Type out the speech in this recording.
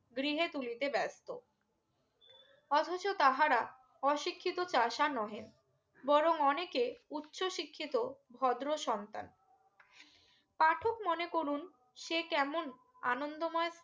গৃহে তুলিতে ব্যস্ত অথচ তাহারা অশিক্ষিত চাষা নহে বরং অনেকে উচ্চ শিক্ষিত ভদ্র সন্তান পাঠক মনে করুন সে কেমন আনন্দ ময়